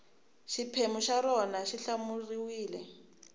xiphemu xa rona xi hlawuriwile